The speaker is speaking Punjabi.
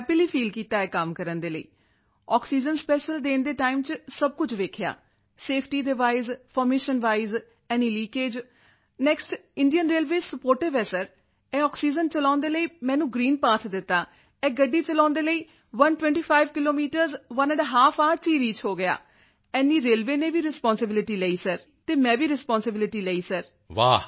ਮੈਂ ਹੈਪੀਲੀ ਫੀਲ ਕੀਤਾ ਇਹ ਕੰਮ ਕਰਨ ਦੇ ਲਈ ਆਕਸੀਜਨ ਸਪੈਸ਼ੀਅਲ ਦੇਣ ਦੇ ਟਾਈਮ ਵਿੱਚ ਸਭ ਕੁਝ ਵੇਖਿਆ ਸੇਫਟੀ ਦੇ wise formation wise any leakage next Indian railway sportive ਹੈ ਸਰ ਇਹ ਆਕਸੀਜਨ ਚਲਾਉਣ ਦੇ ਲਈ ਮੈਨੂੰ ਗ੍ਰੀਨ ਪਾਠ ਦਿੱਤਾ ਇਹ ਗੱਡੀ ਚਲਾਉਣ ਦੇ ਲਈ 125 kilometre one and a half hour ਚ ਰੀਚ ਹੋ ਗਿਆ ਇੰਨੀ ਰੇਲਵੇ ਨੇ ਵੀ ਰਿਸਪਾਂਸਿਬਿਲਟੀ ਦਿੱਤੀ ਤੇ ਮੈਂ ਵੀ ਰਿਸਪਾਂਸਿਬਿਲਟੀ ਲਈ ਸਰ